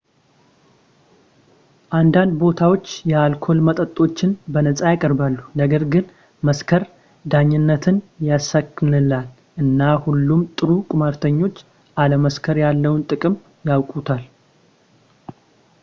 አንዳንድ ቦታዎች የአልኮል መጠጦችን በነፃ ያቀርባሉ ነገር ግን መስከር ዳኝነትን ያሰናክላል እና ሁሉም ጥሩ ቁማርተኞች አለመስከር ያለውን ጥቅም ያውቁታል